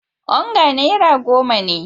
Onga naira goma ne.